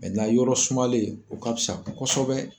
yɔrɔ sumalen o ka fisa kosɛbɛ.